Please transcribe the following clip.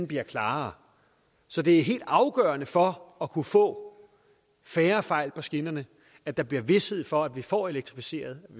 bliver klarere så det er helt afgørende for at kunne få færre fejl på skinnerne at der bliver vished for at vi får elektrificeret